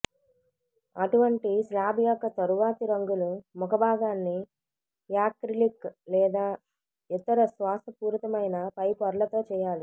అటువంటి స్లాబ్ యొక్క తరువాతి రంగులు ముఖభాగాన్ని యాక్రిలిక్ లేదా ఇతర శ్వాసపూరితమైన పైపొరలతో చేయాలి